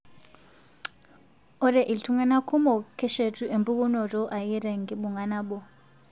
Ore iltung'anak kumok keshetu empukunoto ake tenkibung'a nabo.